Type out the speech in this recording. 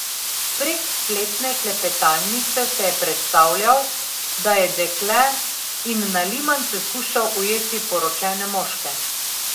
Prek spletne klepetalnice se je predstavljal, da je dekle in na limanice skušal ujeti poročene moške.